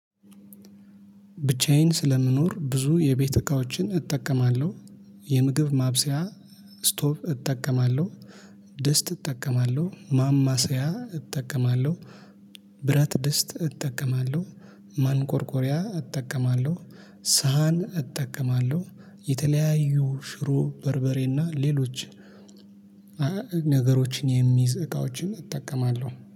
ብቻዬን ስለምኖር ብዙ የቤት እቃዎችን እጠቀማለሁ የምግብ ማብሰያ ስቶቭ እጠቀማለሁ ድስት እጠቀማለሁ ማማሰያ እጠቀማለሁ ብረት ድስት እጠቀማለሁ ማንቆርቆሪያ እጠቀማለሁ ሳህን እጠቀማለሁ። የተለያዩ ሽሮ በርበሬና ሌሎች ነገሮችን የሚይዝ እቃዎችን እጠቀማለሁ